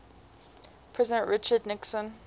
president richard nixon